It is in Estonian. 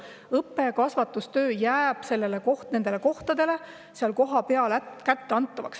Õppe- ja kasvatustöö jääb nendes kohtades alles.